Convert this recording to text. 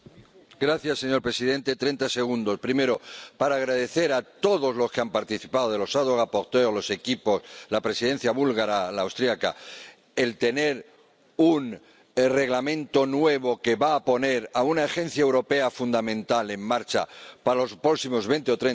Señor presidente, en primer lugar, quiero agradecer a todos los que han participado —los ponentes alternativos, los equipos, la Presidencia búlgara, la austriaca— el tener un Reglamento nuevo que va a poner a una agencia europea fundamental en marcha para los próximos veinte o treinta años.